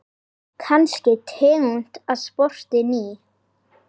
Kannski tegund af spori ný.